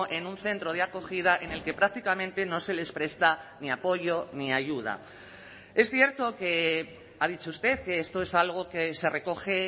en un centro de acogida en el que prácticamente no se les presta ni apoyo ni ayuda es cierto que ha dicho usted que esto es algo que se recoge